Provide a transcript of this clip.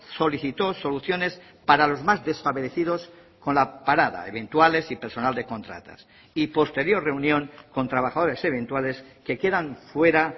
solicitó soluciones para los más desfavorecidos con la parada eventuales y personal de contratas y posterior reunión con trabajadores eventuales que quedan fuera